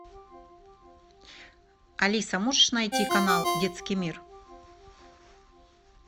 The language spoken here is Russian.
алиса можешь найти канал детский мир